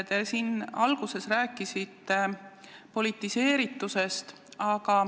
Te siin alguses rääkisite politiseeritusest.